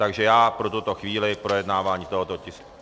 Takže já pro tuto chvíli projednávání tohoto tisku...